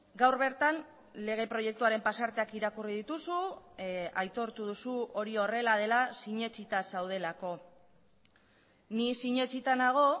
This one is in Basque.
gaur bertan lege proiektuaren pasarteak irakurri dituzu aitortu duzu hori horrela dela sinetsita zaudelako ni sinetsita nago